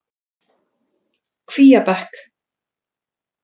Kvíabekk